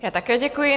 Já také děkuji.